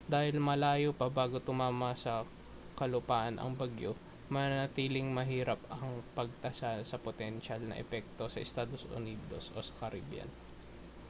dahil malayo pa bago tumama sa kalupaan ang bagyo mananatiling mahirap ang pagtasa sa potensyal na epekto sa estados unidos o sa caribbean